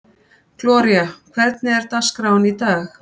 Gloría, hvernig er dagskráin í dag?